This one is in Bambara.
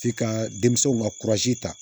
F'i ka denmisɛnw ka kurazi ta